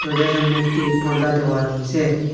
দরজার সামনে একটি পর্দা দেওয়া রয়েসে।